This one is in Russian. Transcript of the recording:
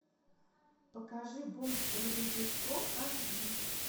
покажи бомж с дробовиком аш ди